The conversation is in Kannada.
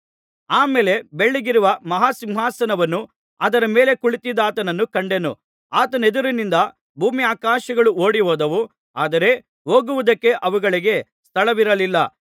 ಆ ಮೇಲೆ ಬೆಳ್ಳಗಿರುವ ಮಹಾ ಸಿಂಹಾಸನವನ್ನೂ ಅದರ ಮೇಲೆ ಕುಳಿತಿದ್ದಾತನನ್ನೂ ಕಂಡೆನು ಆತನೆದುರಿನಿಂದ ಭೂಮ್ಯಾಕಾಶಗಳು ಓಡಿಹೋದವು ಆದರೆ ಹೋಗುವುದಕ್ಕೆ ಅವುಗಳಿಗೆ ಸ್ಥಳವಿರಲಿಲ್ಲ